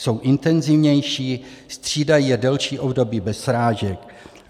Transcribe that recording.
Jsou intenzivnější, střídají je delší období bez srážek.